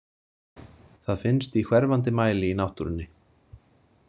Það finnst í hverfandi mæli í náttúrunni.